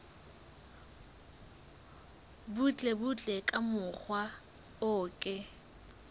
butlebutle ka mokgwa o ke